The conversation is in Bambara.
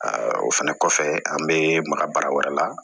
o fɛnɛ kɔfɛ an bɛ maka baara wɛrɛ la